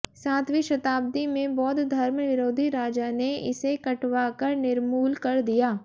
सातवीं शताब्दी में बौद्ध धर्म विरोधी राजा ने इसे कटवा कर निर्मूल कर दिया